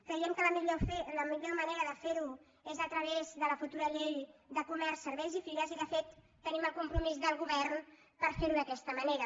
creiem que la millor manera de fer ho és a través de la futura llei de comerç serveis i fires i de fet tenim el compromís del govern per ferho d’aquesta manera